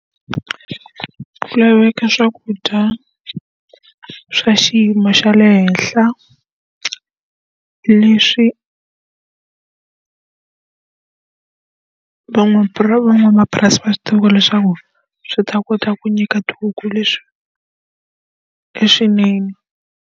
Ku laveka swakudya swa xiyimo xa le henhla, leswi van'wamapurasi va swi tivaka leswaku swi ta kota ku nyika tihuku leswinene.